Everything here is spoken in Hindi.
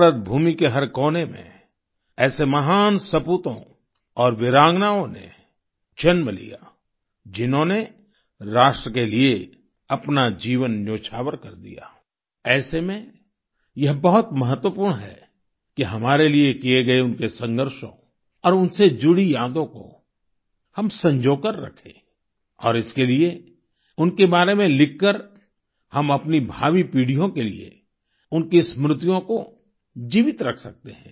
भारत भूमि के हर कोने में ऐसे महान सपूतों और वीरांगनाओं ने जन्म लिया जिन्होंने राष्ट्र के लिए अपना जीवन न्योछावर कर दिया ऐसे में यह बहुत महत्वपूर्ण है कि हमारे लिए किए गए उनके संघर्षों और उनसे जुड़ी यादों को हम संजोकर रखें और इसके लिए उनके बारे में लिख कर हम अपनी भावी पीढ़ियों के लिए उनकी स्मृतियों को जीवित रख सकते हैं